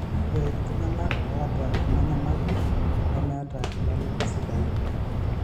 ore iltunganak oota eana nyamali nemeeta ilala sidain